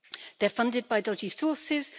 They're funded by dodgy sources.